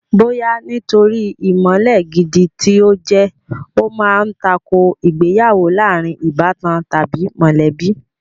Bóyá nítorí ìmọ̀le gidi tí ó jẹ́, ó ma ń tako ìgbéyàwó láàrin ìbátan tàbí mọ̀lẹ́bí